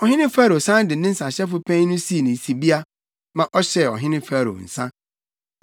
Ɔhene Farao san de ne nsahyɛfo panyin no sii ne sibea ma ɔhyɛɛ ɔhene Farao nsa.